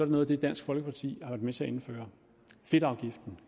noget af det dansk folkeparti har været med til at indføre fedtafgiften